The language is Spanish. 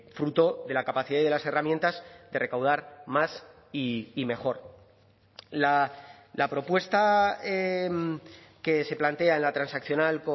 fruto de la capacidad y de las herramientas de recaudar más y mejor la propuesta que se plantea en la transaccional